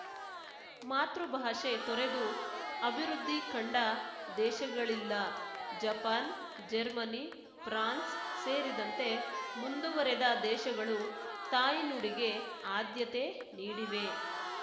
ಮಾತೃಭಾಷೆ ತೊರೆದು ಅಭಿವೃದ್ಧಿ ಕಂಡ ದೇಶಗಳಿಲ್ಲ ಜಪಾನ್‌ ಜರ್ಮನಿ ಫ್ರಾನ್ಸ್‌ ಸೇರಿದಂತೆ ಮುಂದುವರೆದ ದೇಶಗಳು ತಾಯ್ನುಡಿಗೆ ಆದ್ಯತೆ ನೀಡಿವೆ